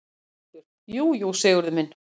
ÞORVALDUR: Jú, jú, Sigurður minn.